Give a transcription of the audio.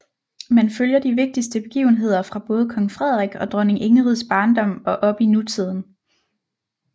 Man følger de vigtigste begivenheder fra både kong Frederik og dronning Ingrids barndom og op til nutiden